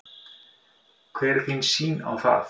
Hver er þín sýn á það?